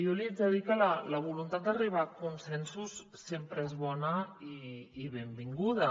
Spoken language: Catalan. jo li haig de dir que la voluntat d’arribar a consensos sempre és bona i benvin·guda